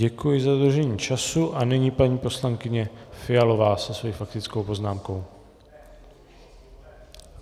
Děkuji za dodržení času a nyní paní poslankyně Fialová se svou faktickou poznámkou.